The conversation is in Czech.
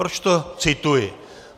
Proč to cituji?